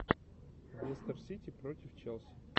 лестер сити против челси